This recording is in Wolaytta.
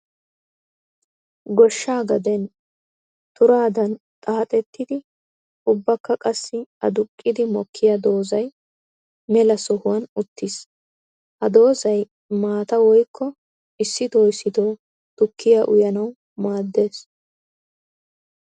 Goshsha gaden turaddan xaaxxettiddi ubbakka qassi aduqqiddi mokiya doozay mela sohuwan uttiiis. Ha doozay maata woykko issitto issitto tukiya uyanawu maadees.